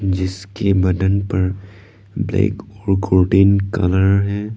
जिसके बदन पर ब्लैक और गोल्डन कलर है।